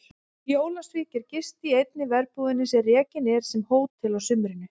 Í Ólafsvík er gist í einni verbúðinni sem rekin er sem hótel að sumrinu.